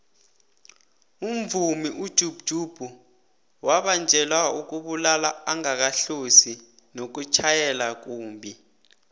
umvumi ujub jub wabanjelwa ukubulala angakahlosi nokutjhayela kumbhi